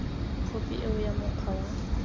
khophi eo ya mokgwa wa